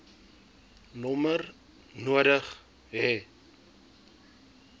nommer nodig hê